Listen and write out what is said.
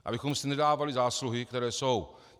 Abychom si nedávali zásluhy, které jsou.